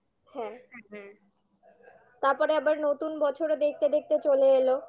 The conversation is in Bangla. হ্যাঁ তারপরে আবার নতুন বছরও দেখতে দেখতে চলে এলো